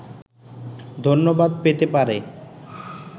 ধন্যবাদ পেতে পারে